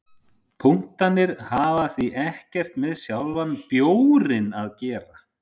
Punktarnir hafa því ekkert með sjálfan bjórinn að gera.